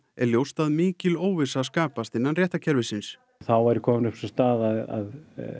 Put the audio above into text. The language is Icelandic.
er ljóst að mikil óvissa skapast innan réttarkerfisins þá væri kominn upp sú staða að